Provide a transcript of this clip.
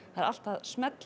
er allt að smella